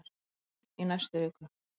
Björn: Í næstu viku?